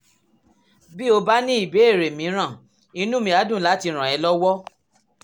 bí o bá ní ìbéèrè mìíràn inú mi á dùn láti ràn ọ́ lọ́wọ́